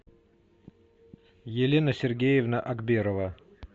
елена сергеевна акберова